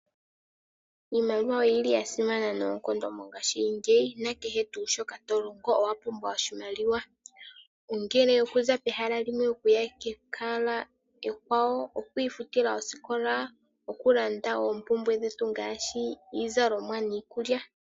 Iimaliwa oyili yasimana noonkondo mongaashingeyi nakehe tuu shoka tolongo owapumbwa oshimaliwa. Ongele okuza pehala limwe okuya kehala ekwawo ,oku ifutila oosikola, okulanda oompumbwe dhetu ngaashi iizalomwa niikulya.